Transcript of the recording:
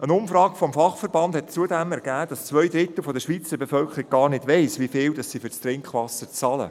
Eine Umfrage beim Fachverband hat zudem ergeben, dass zwei Drittel der Schweizer Bevölkerung gar nicht weiss, wie viel sie für das Trinkwasser bezahlen.